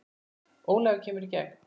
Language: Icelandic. Ólafur kemur í gegn.